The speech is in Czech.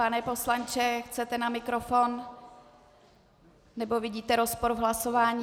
Pane poslanče, chcete na mikrofon nebo vidíte rozpor v hlasování?